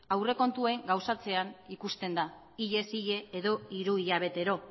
aurrekontuen gauzatzean ikusten da hilez hile edo hiru hilabetero